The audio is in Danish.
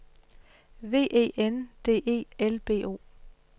V E N D E L B O